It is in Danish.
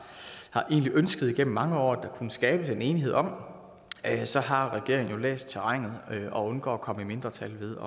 ønsket gennem mange år at der kunne skabes en enighed om så har regeringen jo læst terrænet og undgår at komme i mindretal ved